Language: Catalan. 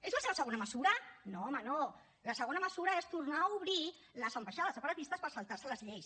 és la seva segona mesura no home no la segona mesura és tornar a obrir les ambaixades separatistes per saltar se les lleis